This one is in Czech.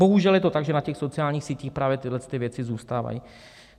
Bohužel je to tak, že na těch sociálních sítích právě tyhle věci zůstávají.